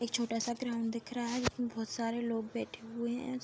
एक छोटा सा ग्राउन्ड दिख रहा है। जिसमे बोहोत सारे लोग बैठे हुए हैं।